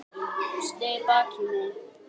Sneri baki í mig.